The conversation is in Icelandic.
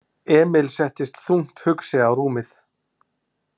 Emil settist þungt hugsi á rúmið.